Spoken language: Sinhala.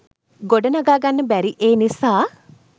ගොඩ නගා ගන්න බැරි ඒ නිසා.